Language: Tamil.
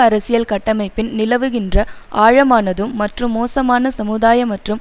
அரசியல் கட்டமைப்பின் நிலவுகின்ற ஆழமானதும் மற்றும் மோசமான சமுதாய மற்றும்